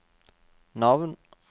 navn